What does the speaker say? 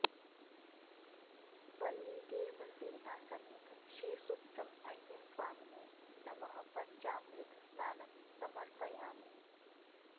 वल्लीदेवसेना समेत श्री सुब्रह्मण्य स्वामिने नमः पञ्चामृत स्नानं समर्पयामि